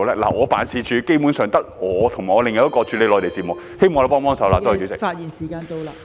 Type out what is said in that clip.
我的辦事處基本上只有我和另一名負責處理內地事務的人員，希望政府幫忙......